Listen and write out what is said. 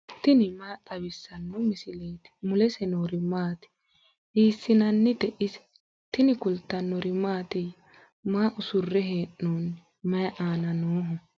tini maa xawissanno misileeti ? mulese noori maati ? hiissinannite ise ? tini kultannori mattiya? Maa usurre hee'noonni? mayi aanna nooho?